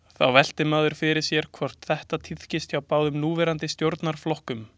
Þá veltir maður fyrir sér hvort þetta tíðkist hjá báðum núverandi stjórnarflokkum.